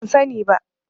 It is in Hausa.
Ban sani ba.